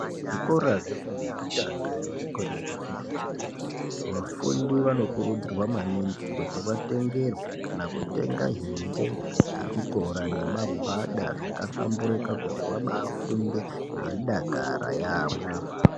Zvikora zvefundo yekutanga nezvikora zvefundo yechipiri vafundi vanokurudzirwa maningi kuti vatengerwe kana kutenga hembe dzechikora nemagwada dzakahlamburika kuti vabafunde veidakara yaamho.